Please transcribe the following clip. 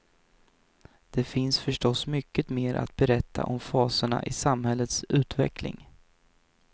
Det finns förstås mycket mer att berätta om faserna i samhällets utveckling.